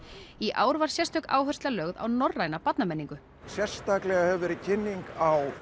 í ár var sérstök áhersla lögð á norræna barnamenningu sérstaklega hefur verið kynning á